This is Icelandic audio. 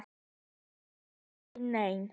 En það kom aldrei neinn.